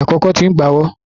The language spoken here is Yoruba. Ìgbà kòkó ti ń bawo.